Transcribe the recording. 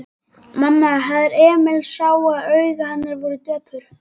Mamma þagði og Emil sá að augu hennar voru döpur.